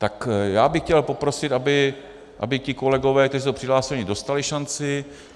Tak já bych chtěl poprosit, aby ti kolegové, kteří jsou přihlášeni, dostali šanci.